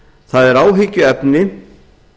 það er áhyggjuefni